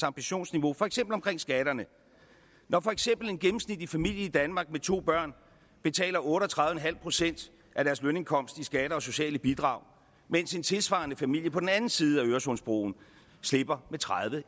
ambitionsniveau for eksempel omkring skatterne når for eksempel en gennemsnitlig familie i danmark med to børn betaler otte og tredive procent af deres lønindkomst i skatter og sociale bidrag mens en tilsvarende familie på den anden side af øresundsbroen slipper med tredive